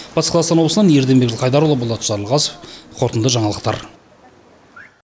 батыс қазақстан облысынан ерденбек жылқайдарұлы болат жарылғасов қорытынды жаңалықтар